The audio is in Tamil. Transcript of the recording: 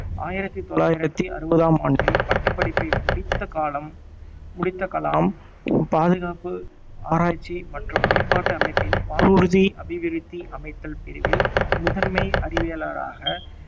ஆயிரத்தி தொள்ளாயிரத்தி அறுவதாம் ஆண்டில் பட்டப்படிப்பை முடித்த காலம் முடித்த கலாம் பாதுகாப்பு ஆராய்ச்சி மற்றும் மேம்பாட்டு அமைப்பின் வானூர்தி அபிவிருத்தி அமைத்தல் பிரிவில் முதன்மை அறிவியலாளராக